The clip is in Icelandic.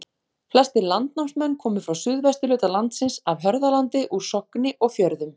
Flestir landnámsmenn komu frá suðvesturhluta landsins, af Hörðalandi, úr Sogni og Fjörðum.